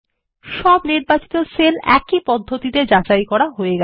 সমস্ত নির্বাচিত সেল একই পদ্ধতিতে যাচাই করা যায়